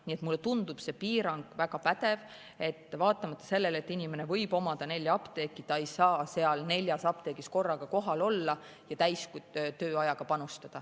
Nii et mulle tundub see piirang väga pädev, et vaatamata sellele, et inimene võib omada nelja apteeki, ta ei saa neis neljas apteegis korraga kohal olla ja täistööajaga panustada.